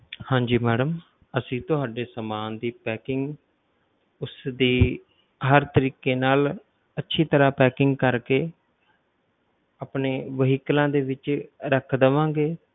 ਹਾਂਜੀ madam ਅਸੀਂ ਤੁਹਾਡੇ ਸਾਮਾਨ ਦੀ packing ਉਸਦੀ ਹਰ ਤਰੀਕੇ ਨਾਲ ਅੱਛੀ ਤਰਾਂ packing ਕਰਕੇ ਆਪਣੇ vehicles ਦੇ ਵਿੱਚ ਰੱਖ ਦੇਵਾਂਗੇ।